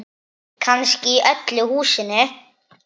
Kannski í öllu húsinu.